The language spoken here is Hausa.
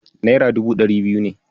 Naira dubu ɗari biyu ne.